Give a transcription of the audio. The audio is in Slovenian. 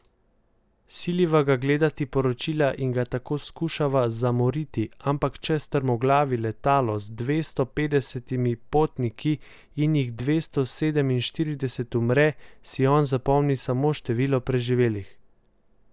Siliva ga gledati poročila in ga tako skušava zamoriti, ampak če strmoglavi letalo z dvesto petdesetimi potniki in jih dvesto sedeminštirideset umre, si on zapomni samo število preživelih!